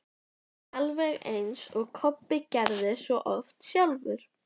Alveg eins og Kobbi gerði svo oft sjálfur.